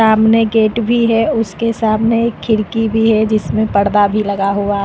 सामने गेट भी है उसके सामने एक खिड़की भी है जिसमें पर्दा भी लगा हुआ है।